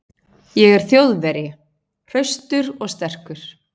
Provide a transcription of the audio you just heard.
Ég er Þjóðverji, hraustur og sterkur.